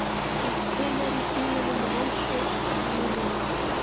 Þetta tilheyrir tímanum með Rósu og hann er liðinn.